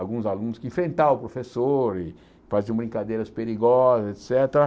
alguns alunos que enfrentavam o professor e faziam brincadeiras perigosas, et cétera.